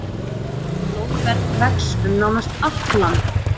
Blóðberg vex um nánast allt land.